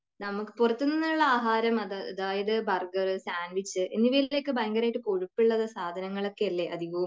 നമുക്ക് പുറത്തുനിന്നുമുള്ള ആഹാരം അതായത് ബർഗർ, സാൻഡ്വിച്, എന്നിവയിലൊക്കെ ഭയങ്കരമായിട്ട് കൊഴുപ്പുള്ള സാധനങ്ങൾ അല്ലെ അധികവും